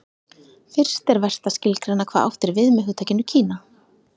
fyrst er vert að skilgreina hvað átt er við með hugtakinu kína